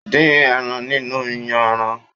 Dín ẹran nínú yanran.